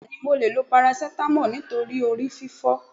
Bẹ́ẹ̀ni mo leè lo paracetamol nítorí orí fífó